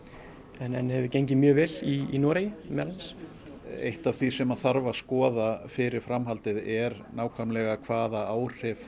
en hefur gengið mjög vel í Noregi meðal annars eitt af því sem þarf að skoða fyrir framhaldið er nákvæmlega hvaða áhrif